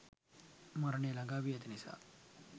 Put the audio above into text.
මරණය ළඟාවී ඇති නිසා